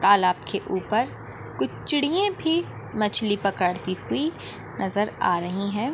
तालाब के ऊपर कुछ चिड़िये भी मछली पकड़ती हुई नज़र आ रही हैं।